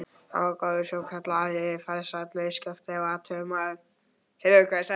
Hann var góður sjósókn- ari, farsæll skipstjóri og athugull maður.